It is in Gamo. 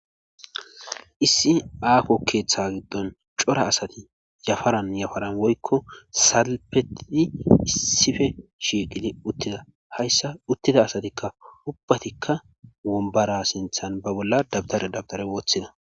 issi aako keeththa giddon cora asati yafaran yafaran woykko salpetii issife shiiqidi uttida hayssa uttida asatikka ubbatikka wombara sinthan ba bolla dabtare dabtare woththida